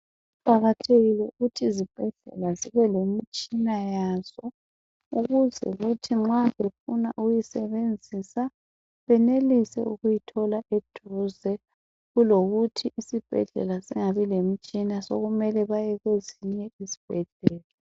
Kuqakathekile ukuthi izibhedlela zibe lemitshina yazo ukuze kuthi nxa befuna ukuyisebenzisa benelise ukuyithola eduze, kulokuthi isibhedlela singabi lemtshina sokumele baye kwezinye izibhedlela.